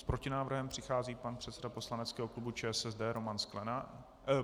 S protinávrhem přichází pan předseda poslaneckého klubu ČSSD Roman Sklenák.